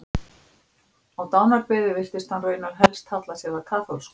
Á dánarbeði virtist hann raunar helst halla sér að kaþólsku.